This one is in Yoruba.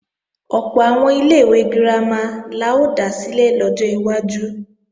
Ọ̀pọ̀ àwọn ilé-ìwé girama la ó dá sílẹ̀ lọ́jọ́ iwájú